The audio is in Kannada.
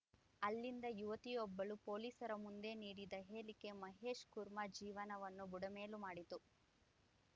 ಅಲ್ಲಿದ್ದ ಯುವತಿಯೊಬ್ಬಳು ಪೊಲೀಸರ ಮುಂದೆ ನೀಡಿದ ಹೇಳಿಕೆ ಮಹೇಶ್‌ ಕುಮಾರ್‌ ಜೀವನವನ್ನು ಬುಡಮೇಲು ಮಾಡಿತ್ತು